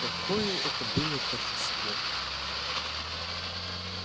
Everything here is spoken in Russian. какое это было торжество